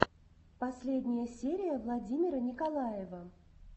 последняя серия владимира николаева